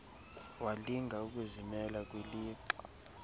walinga ukuzimela kwilixa